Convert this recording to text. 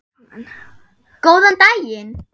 Góðan daginn